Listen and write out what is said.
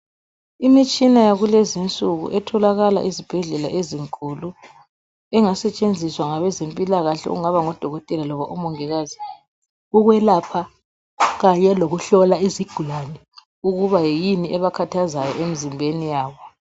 Imitshina yakulezi insuku etholakala ezibhedlela ezinkulu engasetshenziswa ngabezempilakahle okungaba ngodokotela loba umongikazi ukwelapha kanye lokuhlola izigulane ukuba yini ebakhathazayo emizimbeni yabo.